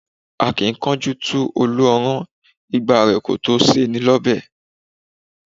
A kì í kánjú tu Olú ọrán, igba rẹ kò tó ṣe ni ọbẹ̀